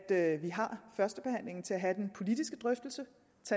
at vi har førstebehandlingen til at have den politiske drøftelse